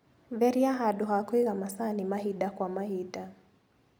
Theria handũ ha kũiga macani mahinda kwa mahinda.